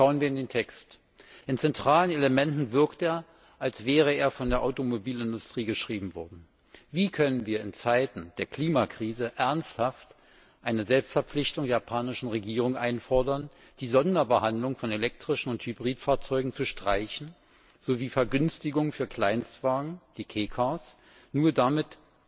Schauen wir in den Text. In zentralen Elementen wirkt er, als wäre er von der Automobilindustrie geschrieben worden. Wie können wir in Zeiten der Klimakrise ernsthaft eine Selbstverpflichtung der japanischen Regierung einfordern, die Sonderbehandlung von elektrischen und Hybridfahrzeugen sowie Vergünstigungen für Kleinstwagen, wie Kei Cars zu streichen, nur damit